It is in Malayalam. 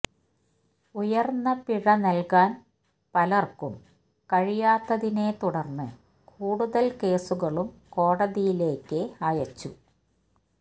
ഉയര്ന്ന പിഴ നല്കാന് പലര്ക്കും കഴിയാത്തതിനെത്തുടര്ന്ന് കൂടുതല് കേസുകളും കോടതിയിലേക്ക് അയച്ചു